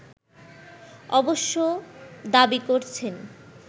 অবশ্য দাবি করছেন